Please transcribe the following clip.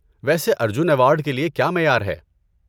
ویسے ارجن ایوارڈ کے لیے کیا معیار ہے؟